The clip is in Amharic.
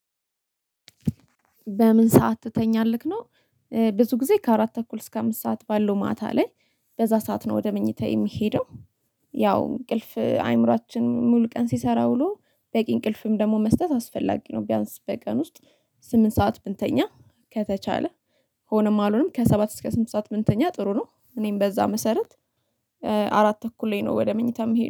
በምን ሰዓት ትተኛለህ ነው? ብዙ ጊዜ ከአራት ተኩል እስከ አምስት ሰዓት ባለው ማታ ላይ በዛ ሰዓት ነው ወደ መኝታ የምሄደው። ያው እንቅልፍ አይምሮአችን ሙሉ ቀን ሲሰራ ውሎ በቂ እንቅልፍም ደግሞ መስጠት አስፈላጊ ነው። ቢያንስ በቀን ውስጥ ስምንት ሰዓት ብንተኛ ከተቻለ። ሆነም አሎነም ከሰባት እስከ ስምንት ሰዓት ብንተኛ ጥሩ ነው። እኔም በዛ መሰረት አራት ተኩል ላይ ነው ወደ መኝታም ምሄደው